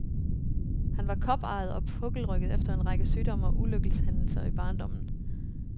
Han var koparret og pukkelrygget efter en række sygdomme og ulykkeshændelser i barndommen.